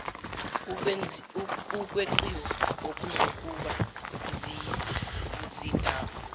ukweqiwa okuzokuba yindaba